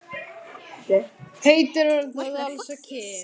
Heitir hann það alls ekki?